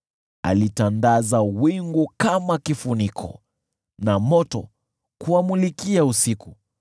Alitandaza wingu kama kifuniko, na moto kuwamulikia usiku.